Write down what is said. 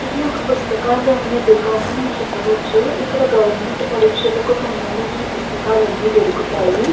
ఇది ఒక పుస్తకాలు అమ్మే దుకాణం అని చెప్పవచ్చు ఇక్కడ గవర్నమెంట్ పరీక్షలకి సంబందించిన పుస్తకాలు అన్ని దొరుకుతాయి .